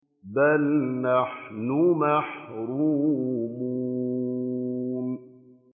بَلْ نَحْنُ مَحْرُومُونَ